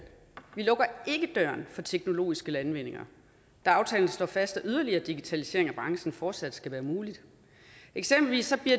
vi lukker ikke døren for teknologiske landvindinger da aftalen slår fast at yderligere digitalisering af branchen fortsat skal være mulig eksempelvis